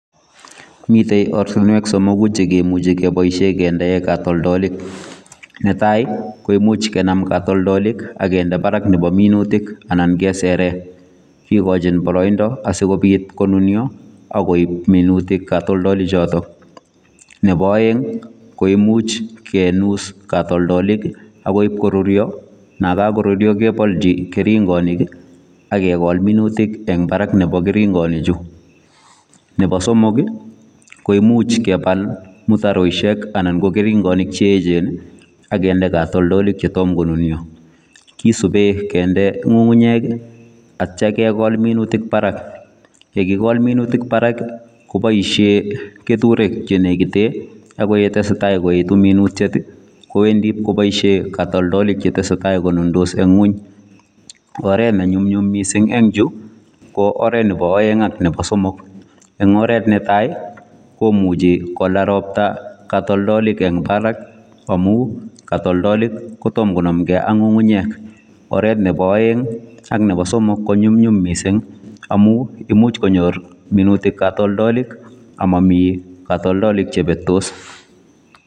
Miten ortinweek somokuu chekimuchei kindeen katoltolik, netai ii koimuuch kenam katoltolik agindei Barak nebo minutik anan keseren kigochiin baraindaa asikobiit konunia akoib minutiik katoltolik chotoon ,nebo aeng ko imuuch kinus katoltolik ak imuuch koruria anan kakoruria kebaljii ak kegol minutiik eng baraak nebo keringanik chuu nebo somok ii koimuuch kebaal mutaroishek anan ko keringanik che eecheen ii agindei katoltolik che tom ko nunia kit akisupeen kindee ngungunyeek ii ak yeityaa kegol minutiik Barak yekikol minutik Barak kobaisheen keture6che nekiteen ago ye tesetai koetu minutiet ii kowendii kobaisheen katoltolik che tesetai che takonundos en kweeny, oret ne nyumnyum missing en chuu ko oret nebo aeng ak nebo somok, eng oret netai komuchi kolaal roptaa katoltolik eng Barak amuun katoltolik kotamah konamuu eng Barak ak ngungunyeek, oret nebo aeng ak nebo somok ko nyumnyum missing amuun imuuch konyoor minutik katoltolik ama Mii katoltolik che betos.